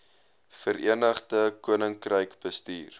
verenigde koninkryk bestuur